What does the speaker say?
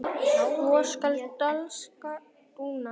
svo skal dansinn duna